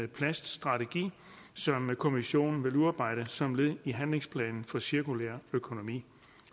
plaststrategi som kommissionen vil udarbejde som led i handlingsplanen for cirkulær økonomi